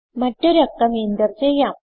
മറ്റൊരു അക്കം എന്റർ ചെയ്യാം